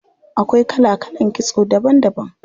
Akwai kala kalan kitso daban daban.